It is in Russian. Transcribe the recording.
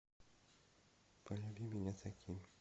полюби меня таким